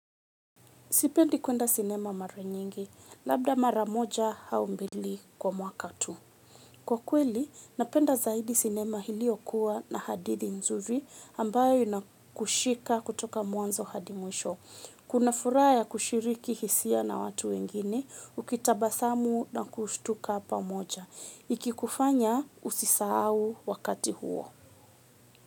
Sipendi kwenda sinema mara nyingi, labda mara moja au mbili kwa mwaka tu. Kwa kweli napenda zaidi sinema iliyokuwa na hadithi nzuri ambayo inakushika kutoka mwanzo hadi mwisho. Kuna furaha ya kushiriki hisia na watu wengine, ukitabasamu na kushtuka pamoja. Ikikufanya usisahau wakati huo.